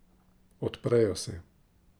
Odprejo se.